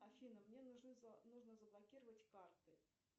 афина мне нужно заблокировать карты